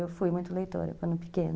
Eu fui muito leitora quando pequena.